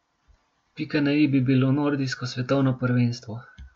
Pika na i bi bilo nordijsko svetovno prvenstvo.